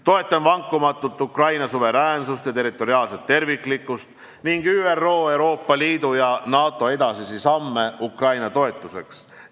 Toetan vankumatult Ukraina suveräänsust ja territoriaalset terviklikkust ning ÜRO, Euroopa Liidu ja NATO edasisi samme Ukraina toetuseks.